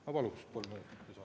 Ma paluks kolm minutit lisaaega.